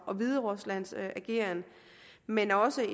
og hvideruslands ageren men også